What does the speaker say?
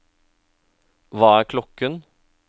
hva er klokken